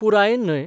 पुरायेन न्हय.